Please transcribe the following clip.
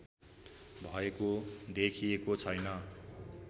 भएको देखिएको छैन